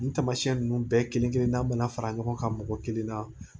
Nin taamasiyɛn nunnu bɛɛ kelen kelenna bɛna fara ɲɔgɔn kan mɔgɔ kelen na